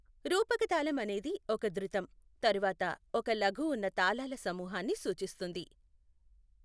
రూపక తాళం అనేది ఒక ధృతం, తరువాత ఒక లఘు ఉన్న తాళాల సమూహాన్ని సూచిస్తుంది.